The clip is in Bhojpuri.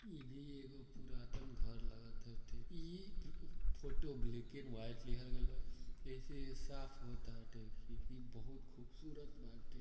ईभि एगो पुरातन घर लगताटे ई फोटो ब्लैक एण्ड व्हाइट लिहाल गइल बाटे जैसे ये साफ हो ताटे कि बहुत खूबसूरत बाटे।